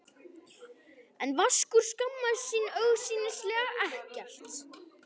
En Vaskur skammaðist sín augsýnilega ekkert.